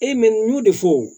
E n y'o de fɔ